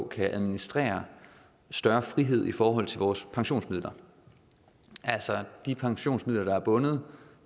kan administrere større frihed i forhold til vores pensionsmidler altså de pensionsmidler der er bundet